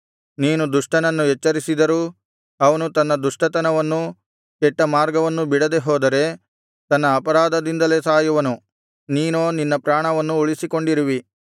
ನೀನು ದುಷ್ಟನನ್ನು ಎಚ್ಚರಿಸಿದರೂ ಅವನು ತನ್ನ ದುಷ್ಟತನವನ್ನೂ ಕೆಟ್ಟಮಾರ್ಗವನ್ನೂ ಬಿಡದೆಹೋದರೆ ತನ್ನ ಅಪರಾಧದಿಂದಲೇ ಸಾಯುವನು ನೀನೋ ನಿನ್ನ ಪ್ರಾಣವನ್ನು ಉಳಿಸಿಕೊಂಡಿರುವಿ